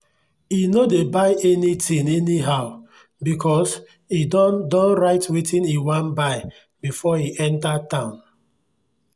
e no dey buy anything anyhow because e don don write wetin e wan buy before e enter town.